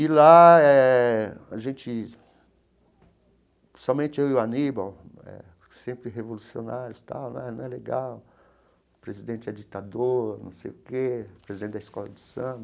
E lá eh a gente... Somente eu e o Aníbal eh, sempre revolucionários tal né, não é legal, o presidente é ditador, não sei o quê, o presidente da escola de samba,